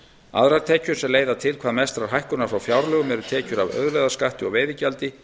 aðrar tekjur sem leiða til hvað mestrar hækkunar frá fjárlögum eru tekjur af auðlegðarskatti og veiðigjaldi